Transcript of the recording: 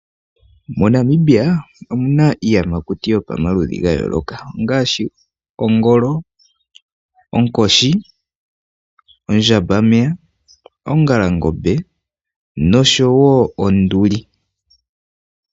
MoNamibia omuna iiyamakuti yopamaludhi gayooloka ngaashi ongolo, onkoshi, ondjambameya, ongalangombe nosho wo onduli.